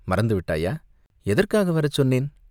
மறந்து விட்டாயா?" "எதற்காக வரச் சொன்னேன்?